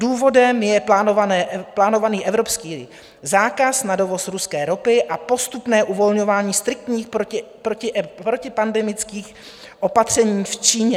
Důvodem je plánovaný evropský zákaz na dovoz ruské ropy a postupné uvolňování striktních protipandemických opatřeních v Číně.